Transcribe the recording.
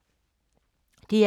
DR K